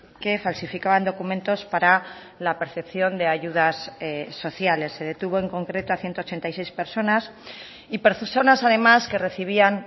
que falsificaban documentos para la percepción de ayudas sociales se detuvo en concreto a ciento ochenta y seis personas y personas además que recibían